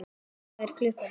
Hvað er klukkan?